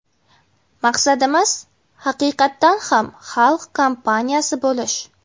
Maqsadimiz – haqiqatdan ham xalq kompaniyasi bo‘lish!